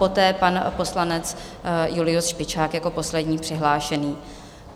Poté pan poslanec Julius Špičák jako poslední přihlášený.